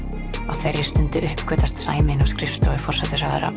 á þeirri stundu uppgötvast sannleikurinn sæmi inni á skrifstofu forsætisráðherra